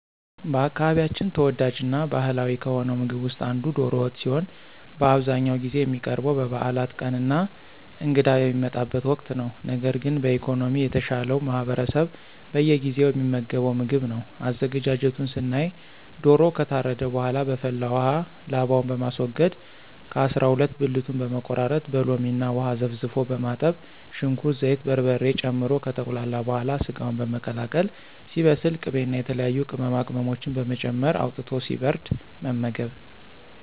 በአካባቢያችን ተወዳጅ እና ባህላዊ ከሆነው ምግብ ውስጥ አንዱ ዶሮ ወጥ ሲሆን በአብዛኛውን ጊዜ የሚቀርበው በበዓላት ቀን እና እንግዳ በሚመጣበት ወቅት ነው። ነገር ግን በኢኮኖሚ የተሻለው ማህበረሰብ በየጊዜው የሚመገበው ምግብ ነው። አዘገጃጀቱን ስናይ ዶሮው ከታረደ በኃላ በፈላ ውሃ ላባውን በማስወገድ ከ አሰራ ሁለት ብልቱን በመቆራረጥ በሎሚ እና ውሃ ዘፍዝፎ በማጠብ ሽንኩርት፣ ዘይት፣ በርበሬ ጨምሮ ከተቁላላ በኃላ ሰጋውን በመቀላቀል ሲበስል ቅቤ እና የተለያዩ ቅመማቅመሞችን በመጨመር አውጥቶ ሲበርድ መመገብ።